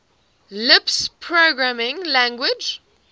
lisp programming language